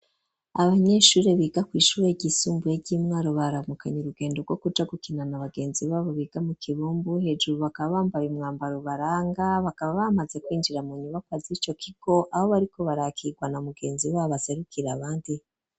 Abanyeshure biga kw'ishure ry'isumbuye ry'imwaro baramukanye urugendo rwo kuja gukinana na bagenzi babo biga mu kibumbu hejuru bakaba bambaye imwambaro baranga bakaba bamaze kwinjira mu nyubako zico kigo abo bariko barakigwa na mugenzi wabo aserukira abandi.